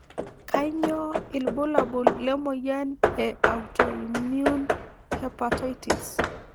Kanyio ibulabul lemoyian e Autoimmune hepatitis.